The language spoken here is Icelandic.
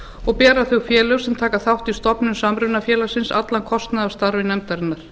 og bera þau félög sem taka þátt í stofnun samrunafélags allan kostnað af starfi nefndarinnar